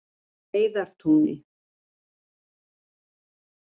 Heiðartúni